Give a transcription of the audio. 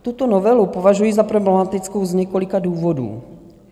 Tuto novelu považuji za problematickou z několika důvodů.